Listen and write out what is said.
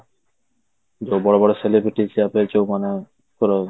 ଯୋଉ ବଡ ବଡ଼ celebrities ଯୋଉ ମାନଙ୍କର